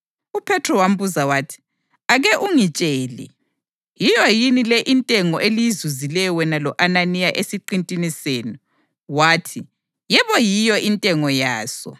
UPhethro wambuza wathi, “Ake ungitshele, yiyo yini le intengo eliyizuzileyo wena lo-Ananiya esiqintini senu?” Wathi, “Yebo, yiyo intengo yaso.”